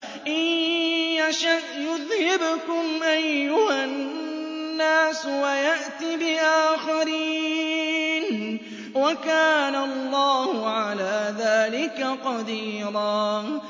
إِن يَشَأْ يُذْهِبْكُمْ أَيُّهَا النَّاسُ وَيَأْتِ بِآخَرِينَ ۚ وَكَانَ اللَّهُ عَلَىٰ ذَٰلِكَ قَدِيرًا